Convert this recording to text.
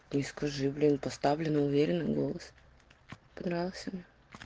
ты скажи блин поставлена уверенный голос понравился на